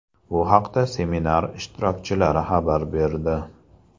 Bu haqda seminar ishtirokchilari xabar berdi.